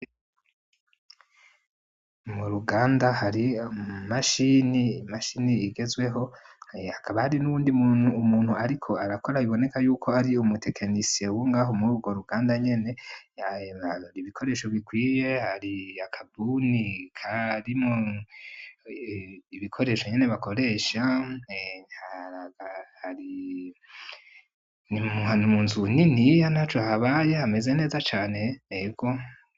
Mu ruganda hari umashini mashini igezweho hakabari n'uwundi umuntu, ariko arakora biboneka yuko ari umutekenisie wungaho muri urwo ruganda nyene yaye marora ibikoresho bikwiye hari lakabuni karimwo ibikorehe nyene bakoresha mpentaragari ni mumuhana umu nzu uwu nini iya na co habaye hameze neza cane ego.